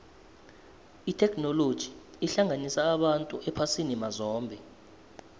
itheknoloji ihlanganisa abantu ephasini mazombe